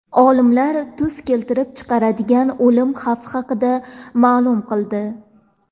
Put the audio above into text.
Olimlar tuz keltirib chiqaradigan o‘lim xavfi haqida ma’lum qildi.